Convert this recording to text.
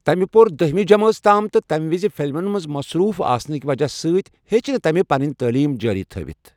تٔمہِ پو٘ر دٔہمہِ تام تہٕ تَمہِ وِزِ فلمَن منٛز مصروٗف آسنہٕ کِنہِ وجہ سۭتۍ ہٮ۪چ نہٕ تٔمہِ پنٕنہِ تٔعلیٖم جٲری تھاوِتھ ۔